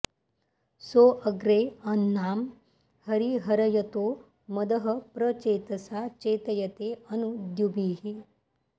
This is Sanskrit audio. सो अग्रे अह्नां हरिर्हर्यतो मदः प्र चेतसा चेतयते अनु द्युभिः